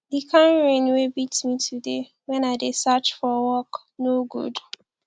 the kin rain wey beat me today wen i dey search for work no good